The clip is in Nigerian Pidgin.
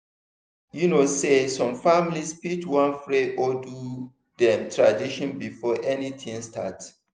you know sey some families fit wan pray or do dem tradition before anything start.